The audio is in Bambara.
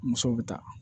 Musow bɛ taa